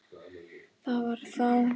Það var þá!